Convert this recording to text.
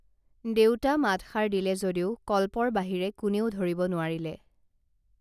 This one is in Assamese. দেউতা মাতষাৰ দিলে যদিও কল্পৰ বাহিৰে কোনেও ধৰিব নোৱাৰিলে